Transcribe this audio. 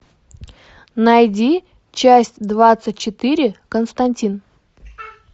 найди часть двадцать четыре константин